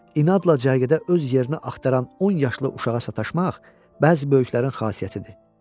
İnadla cərgədə öz yerini axtaran 10 yaşlı uşağa sataşmaq bəzi böyüklərin xasiyyətidir.